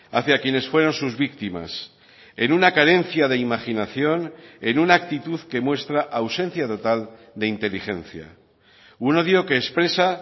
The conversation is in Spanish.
hacia quienes fueron sus víctimas en una carencia de imaginación en una actitud que muestra ausencia total de inteligencia un odio que expresa